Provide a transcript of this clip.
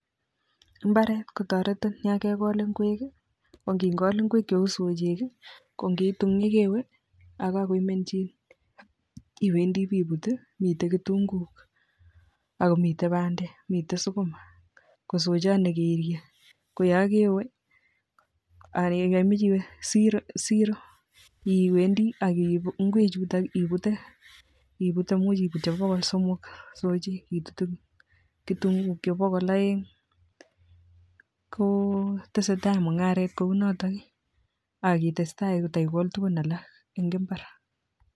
Imbaret kotaretin Yangegol ingwek akinngol ingwek cheu soyik ko kitun yekewe akakoimenjin iwendii iwe ibutmiten kitunguik akomiten bandek ,miten sukuma kosochan nekeirie koyangewe siro iwendii akiibu ingwek chuton ibute ,imuch ibut chebo bokol somok soik AK kitunguik chuton chebo bokol aeng kotestai mungaret Kouniton akitestai kotaiokol tugul en alak en imbar